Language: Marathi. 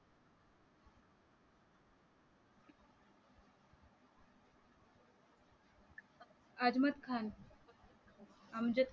अद्वत खान अमजद खान